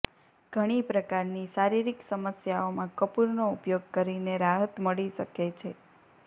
ઘણી પ્રકારની શારીરિક સમસ્યાઓમાં કપૂરનો ઉપયોગ કરીને રાહત મળી શકે છે